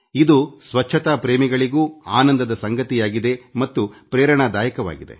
ಇದು ಸ್ವಚ್ಛತಾ ಪ್ರೇಮಿಗಳಿಗೂ ಆನಂದದ ಸಂಗತಿಯಾಗಿದೆ ಮತ್ತು ಸ್ಫೂರ್ತಿದಾಯಕವಾಗಿದೆ